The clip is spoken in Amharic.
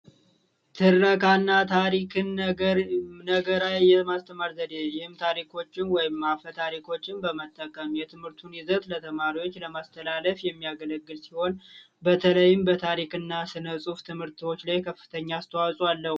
ትረካ እና ታሪክ ነገር የማስተማር ዘዴ ታሪኮችን በመጠቀም የትምህርቱን ይዘት ለተማሪዎች ለማስተላለፍ የሚያገለግል ሲሆን በተለይም በታሪክና ስነ ጽሑፍ ትምህርቶች ላይ ከፍተኛ አስተዋጽኦ አለዉ።